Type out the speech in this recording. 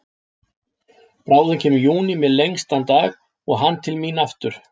Bráðum kemur júní með lengstan dag og hann til mín aftur.